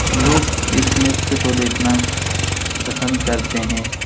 लोग इस नृत्य को देखना पसंद करते है।